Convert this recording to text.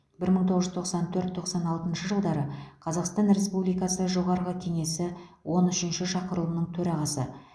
бір мың тоғыз жүз тоқсан төрт тоқсан алтыншы жылдары қазақстан республикасы жоғарғы кеңесі он үшінші шақырылымының төрағасы